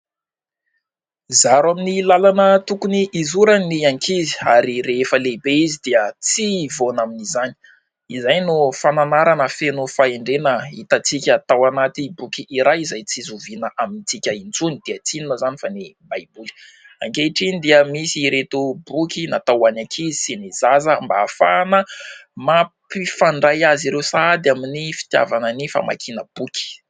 Zaro amin'ny lalana tokony hizorany ny ankizy ary rehefa lehibe izy dia tsy hivaona amin'izany. Izay no fananarana feno fahendrena hitantsika tao anaty boky iray izay tsy zoviana amintsika intsony dia tsy inona izany fa ny Baiboly. Ankehitriny dia misy ireto boky natao ho an'ny ankizy sy ny zaza mba ahafahana mampifandray azy ireo sahady amin'ny fitiavana ny famakiana boky.